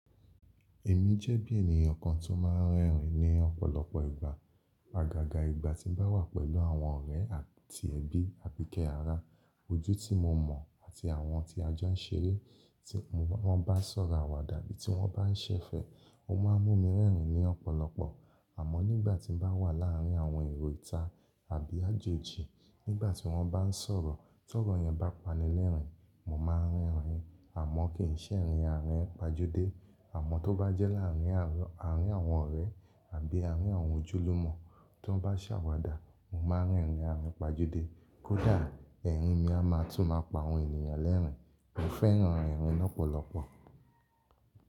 Èmi jẹ́ bí ènìyàn kan tó máa ń rẹ́rìn-ín ní ọ̀pọ̀lọpọ̀ ìgbà. Agaga ìgbà tí bá wà pẹ̀lú àwọn ọ̀rẹ́ àti ẹbí, àbíkẹ́ ara, ojú tí mo mọ̀ àti àwọn tí ajọ́ń ṣeré tí wọ́n bá ń sọ̀rọ̀ àwàdà bí i tí wọ́n bá ń ṣẹ̀fẹ̀, o máa ń mú mi rẹ́rìn-ín ní ọ̀pọ̀lọpọ̀. Àmọ́ nígbà tí mo bá wà láàárín àwọn èrò ìta àbí àjòjì nígbà tí wọ́n bá ń sọ̀rọ̀, tó ọ̀rọ̀ yẹn bá pani lẹ́rìn-ín, mo máa ń rẹ́rìn-ín àmọ́ kì í ṣẹ́ rin àárín pajude. Àmọ́ tó bá jẹ́ láàrín àárín àwọn ọ̀rẹ́ àbí àárín àwọn ojúlùmọ̀ tí wọ́n bá ṣàwàdà, mo máa ń rẹ́rìn-ín àárín pajude. Kódà ẹ̀rín mi a máa tún máa pa àwọn ènìyàn lẹ́rìn-ín. Mo fẹ́ran rẹ́rìn-ín lọ́pọ̀lọpọ̀.